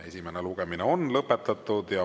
Esimene lugemine on lõpetatud.